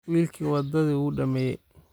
Wiilkii wadadii wuu dhameeyay